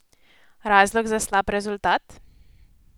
Razlog za slab rezultat?